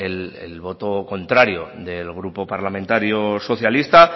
el voto contrario del grupo parlamentario socialista